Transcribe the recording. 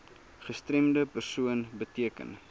gestremde persoon beteken